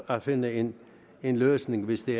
at finde en en løsning hvis det